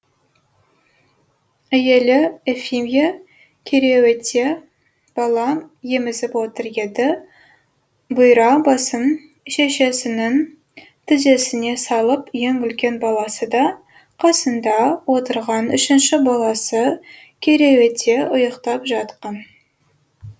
әйелі ефимья кереуетте бала емізіп отыр еді бұйра басын шешесінің тізесіне салып ең үлкен баласы да қасында отырған үшінші баласы кереуетте ұйықтап жатқан